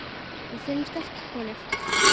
Við vorum sterkar konur.